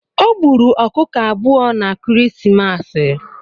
Ọ gburu ọ̣kụ̣kọ abụ̣ọ̣ na kirisimasa